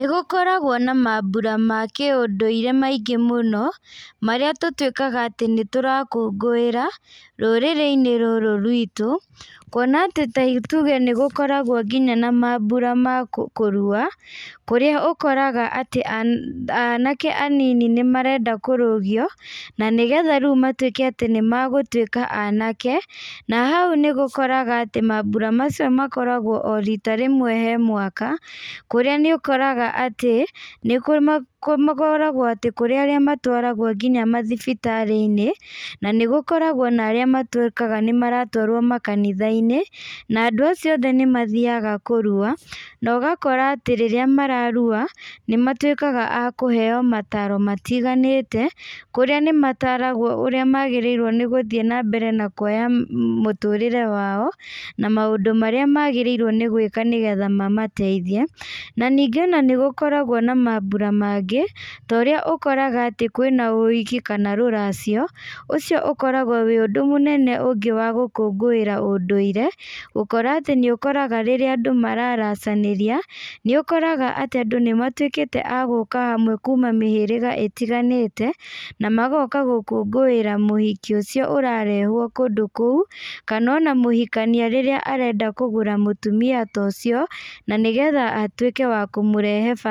Nĩgũkoragwo na mambura ma kĩ ũndũire maingĩ mũno, marĩa tũrwĩkaga atĩ nĩtũrakũngũĩra, rũrĩrĩ-inĩ rũrũ rwitũ, kuona atĩ taĩ tuge nĩgũkoragwo nginya na mambura ma ma kũrua, kũrĩa ũkoraga anake anini nimarenda kũrũgio, na nĩgetha rĩu matwĩke atĩ nĩmegũtwĩka anake, na hau nĩgũkoraga atĩ mambura macio nĩgũkoragwo o rita rímwe he mwaka, harĩa nĩgũkoraga atĩ, nĩkũ makoragwo atĩ kũrĩa arĩa matwaragwo nginya mathibitarĩ-inĩ, na nĩgũkoragwo na arĩa matwĩka nĩmaratwarwo makanitha-inĩ, na andũ acio othe nĩmathiaga kũrua, nogakora atĩ rĩrĩa mararua, nĩmatwĩkaga akũheo mataro matiganĩte, kũrĩa nĩmataragwo ũrĩa magĩrĩirwo nĩgũthiĩ nambere na kuoya mũtũrĩre wao, na maũndũ marĩa magĩrĩirwo nĩ gwĩka nĩgetha mamateithie, na ningĩ ona nĩgũkoragwo na mambura mangĩ, torĩa ũkoraga atĩ kwĩna ũhiki kana rũracio, ũcio ũkoragwo wĩ ũndũ ũngĩ mũnene wa gũkũngũĩra ũndũire, gũkora atĩ nĩũkoraga rĩrĩa andũ mararacanĩria, nĩũkoraga atĩ andũ nĩmatwĩkĩte aguka hamwe kuma mĩhĩrĩga ĩtiganĩte, na magoka gũkũngũĩra mũhiki ũcio ũrarehwo kũndũ kũu, kanona mũhikania rĩrĩa arenda kũgũra mũtumia ta ũcio, na nĩgetha atwĩke wa kũmũrehe ba.